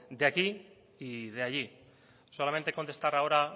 de aquí y de allí solamente contestar ahora